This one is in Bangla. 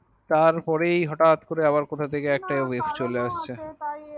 তারপরেই হঠাৎ করে আবার কোথা থেকে একটা ওয়েট চলে আসছে।